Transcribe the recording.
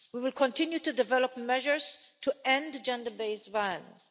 We will continue to develop measures to end gender based violence.